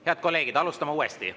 Head kolleegid, alustame uuesti.